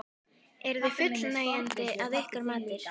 Eru þau fullnægjandi að ykkar mati?